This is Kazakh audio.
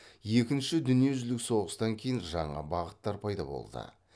екінші дүниежүзілік соғыстан кейін жаңа бағыттар пайда болды